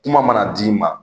Kuma mana d'i ma